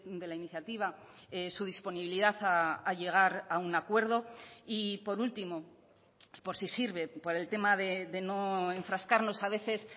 de la iniciativa su disponibilidad a llegar a un acuerdo y por último por si sirve por el tema de no enfrascarnos a veces